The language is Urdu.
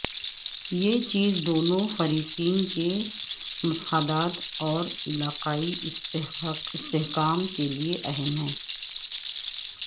یہ چیز دونوں فریقین کے مفادات اور علاقائی استحکام کے لیے اہم ہے